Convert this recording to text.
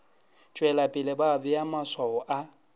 tšwelapele ba bea maswao a